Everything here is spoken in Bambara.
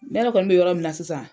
Ne yɛrɛ kɔni bɛ yɔrɔ min na sisan.